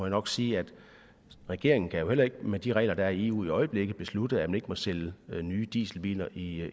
nok sige at regeringen jo heller ikke med de regler der er i eu i øjeblikket kan beslutte at man ikke må sælge nye dieselbiler i